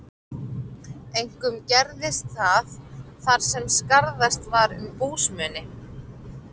Einkum gerðist það, þar sem skarðast var um búsmuni.